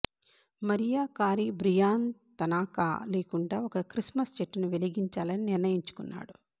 Mariya Carey Brian Tanaka లేకుండా ఒక Christmas చెట్టును వెలిగించాలని నిర్ణయించుకున్నాడు